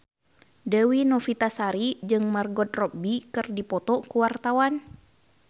Dewi Novitasari jeung Margot Robbie keur dipoto ku wartawan